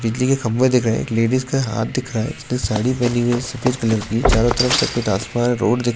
बिजली के खम्बे दिख रहें हैं एक लेडीज का हाथ दिख रहा है जिसने साड़ी पहनी हुई है सफ़ेद कलर की चारो तरफ सफ़ेद आसमान रोड दिख --